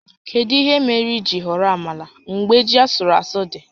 Kedu ihe mere i jiri họrọ amala mgbe ji asụrụ asụ dị?